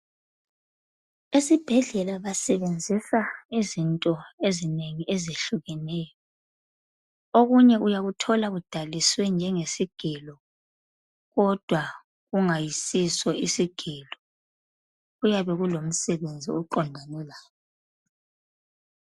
Esibhedlela basebenzisa izinto ezinengi ezehlukeneyo . Okunye uyakuthola kudaliswe njenge sigelo kodwa kungasiso isigelo. Kuyabe kulomsebenzi oqondane lakho.